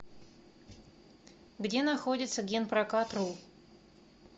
где находится генпрокатру